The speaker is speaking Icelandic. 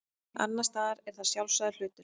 annars staðar er það sjálfsagður hlutur